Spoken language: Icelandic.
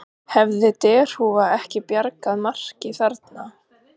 Hefði derhúfa ekki bjargað marki þarna?